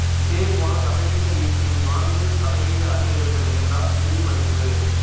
இதேபோல சதவீத வீழ்ச்சியைத் தொடர்ந்து சதவீத அதிகரிப்பு நிகழ்ந்தால் இறுதி மதிப்பு